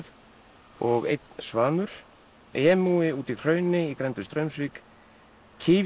og einn svanur úti í hrauni í grennd við Straumsvík